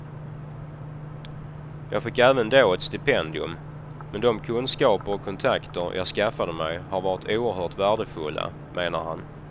Jag fick även då ett stipendium, men de kunskaper och kontakter jag skaffade mig har varit oerhört värdefulla, menar han.